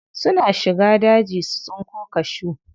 Suna shiga daji su tsinko cashew.